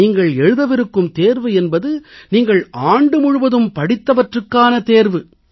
நீங்கள் எழுதவிருக்கும் தேர்வு என்பது நீங்கள் ஆண்டு முழுவதும் படித்தவற்றுக்கான தேர்வு